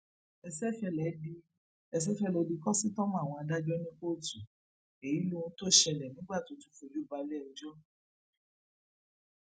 peter obi ṣàbẹwò sáwọn tí um sójà ilé wa jù um bọmù fún ọ fún wọn lẹbùn owó